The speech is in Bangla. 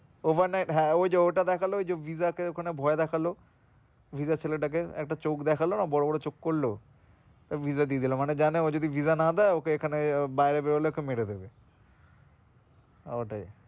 Over night হ্যাঁ ওই যো ওই টা দেখালো ওই যো visa কে ওই খানে ভয় দেখালো visa ছেলে টা কে একটা চোখ দেখালো না বড়োবড়ো চোখ করল তো visa দিয়েদিল মানে জানে ও যদি visa না দেয় ওকে ওখানে বাইরে বেরোলে ওকে মেরে দেবে ওটাই